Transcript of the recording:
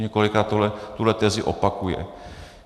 Několikrát tuhle tezi opakuje.